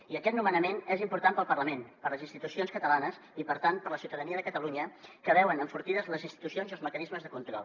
i aquest nomenament és important per al parlament per a les institucions catalanes i per tant per a la ciutadania de catalunya que veuen enfortits les institucions i els mecanismes de control